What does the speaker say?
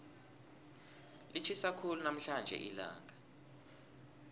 litjhisa khulu namhlanje ilanga